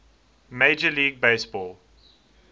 major league baseball